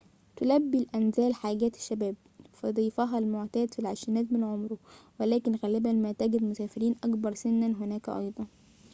تلبي الأنزال حاجات الشباب فضيفها المعتاد في العشرينيات من عمره ولكن غالباً ما تجد مسافرين أكبر سناً هناك أيضاً